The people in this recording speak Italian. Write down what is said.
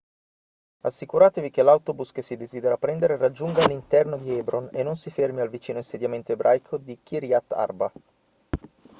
assicuratevi che l'autobus che si desidera prendere raggiunga l'interno di hebron e non si fermi al vicino insediamento ebraico di kiryat arba